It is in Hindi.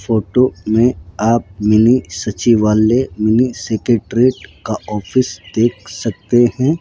फोटो में आप मिनी सचिवालय मिनी सेक्रेटेरिएट का ऑफिस देख सकते हैं।